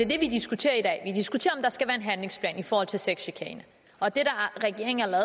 det vi diskuterer om der skal være en handlingsplan i forhold til sexchikane og det regeringen har